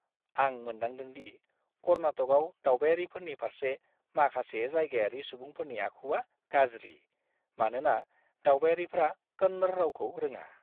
आं मोनदांदों दि कर्नाटकआव दावबायारिफोरनि फारसे माखासे जायगायारि सुबुंफोरनि आखुआ गाज्रि, मानोना दावबायारिफ्रा कन्नड़ रावखौ रोङा!